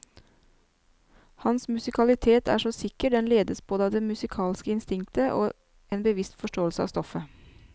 Hans musikalitet er så sikker, den ledes både av det musikalske instinktet og en bevisst forståelse av stoffet.